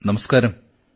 നമസ്തെ sir